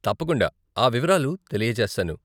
తప్పకుండా ఆ వివరాలు తెలియచేస్తాను.